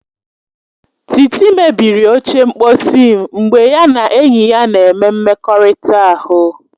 Titi mebiri oche mkposi m mgbe ya na enyi ya na-eme mmekọrịta ahụ.